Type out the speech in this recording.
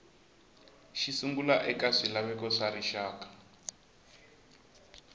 xisungla eka swilaveko swa rixaka